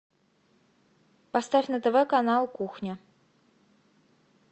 поставь на тв канал кухня